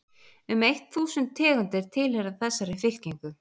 um eitt þúsund tegundir tilheyra þessari fylkingu